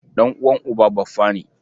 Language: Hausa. Ɗan'uwan uba baffa ne.